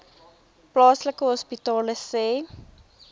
plaaslike hospitale sê